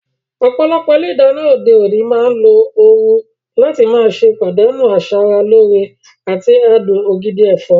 Ọ̀pọ̀lọpọ̀ ilé ìdáná òde òní máa ń lo ooru láti má ṣe pàdánù asara lóore àti adùn ògidì ẹ̀fọ́.